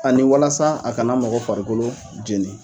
Ani walasa a ka na mɔgɔ farikolo jeni.